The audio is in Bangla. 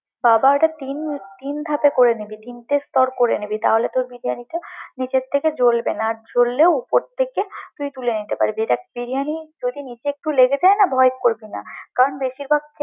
খাবারের তিন তিন ধাপে করে নিবি, তিনটে স্তর করে নিবি তাহলে তোর বিরিয়ানিটা নিচের থেকে জ্বলবে না আর জ্বললেও উপরে থেকে তুই তুলে নিতে পারবি, দেখ বিরিয়ানি নিচে একটু যদি লেগে যায় না, ভয় করবি না কারণ বেশির ভাগ।